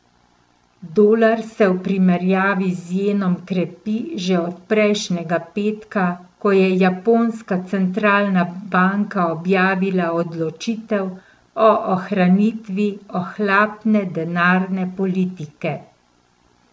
Dolar se v primerjavi z jenom krepi že od prejšnjega petka, ko je japonska centralna banka objavila odločitev o ohranitvi ohlapne denarne politike.